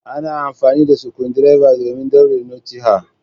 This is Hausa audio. Ana amfani da Sukundirba domin daure notti ah.